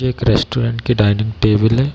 ये एक रेस्टोरेंट की डाइनिंग टेबल है।